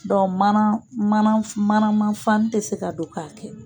Dɔnku mana manama fani tɛ se ka don k'a kɛ.